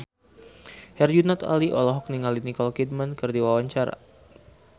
Herjunot Ali olohok ningali Nicole Kidman keur diwawancara